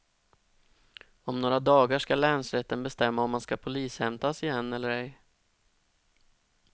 Om några dagar ska länsrätten bestämma om han ska polishämtas igen eller ej.